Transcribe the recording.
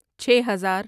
چھے ہزار